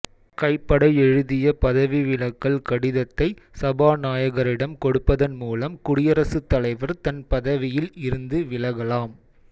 கைப்பட எழுதிய பதவிவிலகல் கடிதத்தை சபாநாயகரிடம் கொடுப்பதன் மூலம் குடியரசு தலைவர் தன் பதவியில் இருந்து விலகலாம்